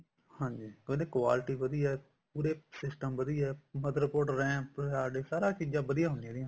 ਹਾਂਜੀ ਉਹਨਾ ਦੀ quality ਵਧੀਆ ਉਰੇ system ਵਧੀਆ motherboard RAM ਸਾਰੀਆਂ ਚੀਜ਼ਾਂ ਵਧੀਆ ਹੁੰਦੀਆਂ ਇਹਦੀਆਂ